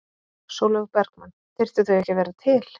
Sólveig Bergmann: Þyrftu þau ekki að vera til?